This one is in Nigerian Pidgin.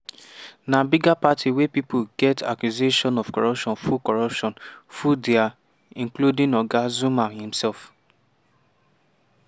na bigger party wey pipo wey get accusation of corruption full corruption full dia- including oga zuma imsef."